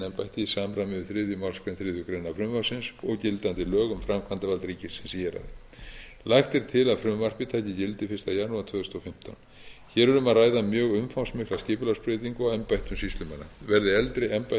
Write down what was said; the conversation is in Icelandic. í samræmi við þriðju málsgrein þriðju greinar frumvarpsins og gildandi lög um framkvæmdarvald ríkisins í héraði lagt er til að frumvarpið taki gildi fyrsta janúar tvö þúsund og fimmtán hér er um að ræða mjög umfangsmikla skipulagsbreytingu á embættum sýslumanna verði eldri embætti